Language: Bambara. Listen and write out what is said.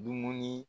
Dumuni